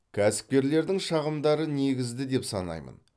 кәсіпкерлердің шағымдары негізді деп санаймын